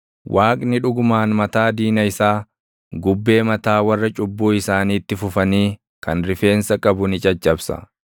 Waaqni dhugumaan mataa diina isaa, gubbee mataa warra cubbuu isaaniitti fufanii // kan rifeensa qabu ni caccabsa.